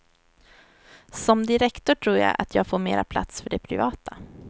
Som direktor tror jag att jag får mera plats för det privata.